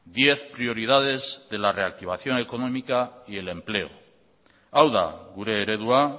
diez prioridades de la reactivación económica y el empleo hau da gure eredua